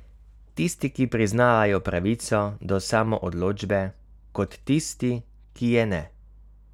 Tisti, ki priznavajo pravico do samoodločbe, kot tisti, ki je ne.